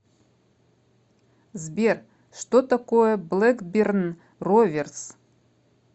сбер что такое блэкберн роверс